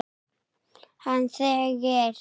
Hann þegir.